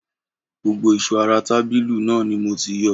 Gbogbo ìṣó ara tàbílu náà ni mo ti yọ